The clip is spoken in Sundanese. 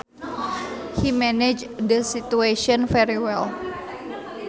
He managed that situation very well